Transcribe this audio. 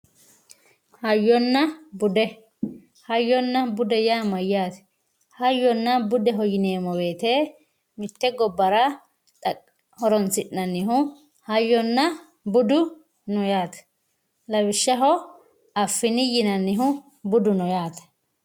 hayyonna bude hayyonna bude yaa mayaate hayyonna budeho yineemo woyiite mitte gobbara horonsi'nannihu hayyonna budu no yaate lawishshaho affini yinannihu budu no yaate